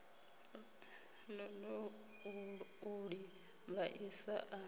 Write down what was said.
ṱoḓou u ḽi vhaisa a